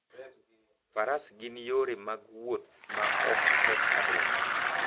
Faras gin yore mag wuoth ma ok keth alwora.